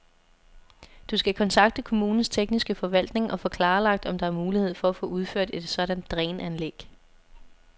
Du skal kontakte kommunens tekniske forvaltning og få klarlagt, om der er mulighed for at få udført et sådant dræn-anlæg.